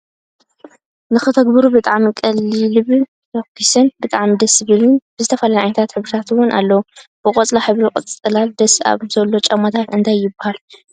ንክትገብሩ ብጣዕሚ ቀሊልብ ፈኪሱን ብጣዕሚ ደስ ዝብለካን ብዝተፈላለየ ዓይነታት ሕብርታት እውን ኣለው። ብቆፃል ሕብሪ ፅላል ዳስ ኣብ ዝሎ ጫማታት እንታይ ይብሃሉ ሽሞም?